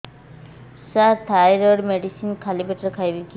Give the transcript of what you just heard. ସାର thyroid medicine ଖାଲି ପେଟରେ ଖାଇବି କି